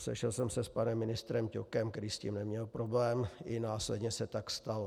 Sešel jsem se s panem ministrem Ťokem, který s tím neměl problém, i následně se tak stalo.